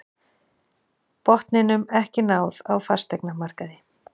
Botninum ekki náð á fasteignamarkaði